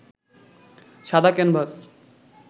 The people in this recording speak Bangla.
সাদা ক্যানভাস